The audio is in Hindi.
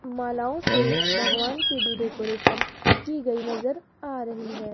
मालाओं से भगवान की भी डेकोरेशन की गई नजर आ रही है।